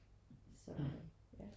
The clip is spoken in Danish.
Så øh ja